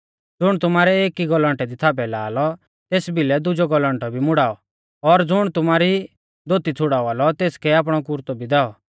ज़ुण तुमारै एकी गौलैण्टे दी थापै ला लौ तेस बिलै दुजौ गौलौण्टौ भी मुड़ाऔ और ज़ुण तुमारी धोती छ़ुड़ावा लौ तेसकै आपणौ कुरतौ भी दैऔ